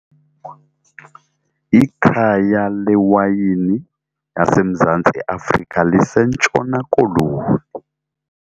Ikhaya lewayini yaseMzantsi Afrika liseNtshona Koloni.